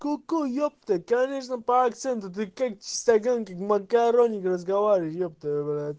ку-ку ёпта конечно по акценту ты как чистоган как макаронник разговариваешь ёпта брат